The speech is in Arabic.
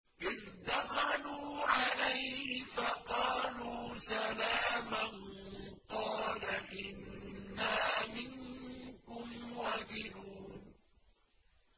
إِذْ دَخَلُوا عَلَيْهِ فَقَالُوا سَلَامًا قَالَ إِنَّا مِنكُمْ وَجِلُونَ